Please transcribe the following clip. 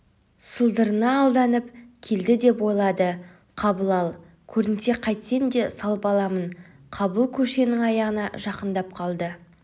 сылдырына алданып келедідеп ойлады қабыл ал көрінсе қайтсем де салып аламын қабыл көшенің аяғына жақындап қалды